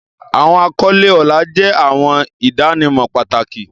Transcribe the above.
Awọn akọle ọlá jẹ awọn idanimọ pataki.